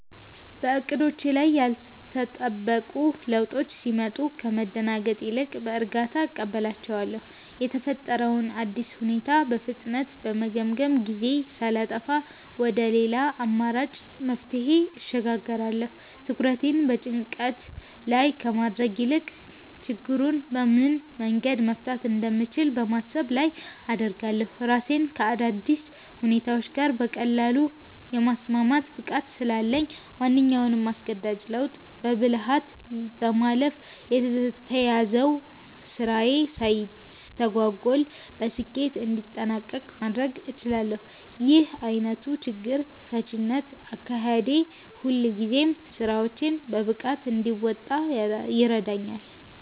በዕቅዶቼ ላይ ያልተጠበቁ ለውጦች ሲመጡ ከመደናገጥ ይልቅ በእርጋታ እቀበላቸዋለሁ። የተፈጠረውን አዲስ ሁኔታ በፍጥነት በመገምገም፣ ጊዜ ሳላጠፋ ወደ ሌላ አማራጭ መፍትሄ እሸጋገራለሁ። ትኩረቴን በጭንቀት ላይ ከማድረግ ይልቅ ችግሩን በምን መንገድ መፍታት እንደምችል በማሰብ ላይ አደርጋለሁ። ራሴን ከአዳዲስ ሁኔታዎች ጋር በቀላሉ የማስማማት ብቃት ስላለኝ፣ ማንኛውንም አስገዳጅ ለውጥ በብልሃት በማለፍ የተያዘው ስራዬ ሳይስተጓጎል በስኬት እንዲጠናቀቅ ማድረግ እችላለሁ። ይህ ዓይነቱ የችግር ፈቺነት አካሄዴ ሁልጊዜም ስራዎቼን በብቃት እንድወጣ ይረዳኛል።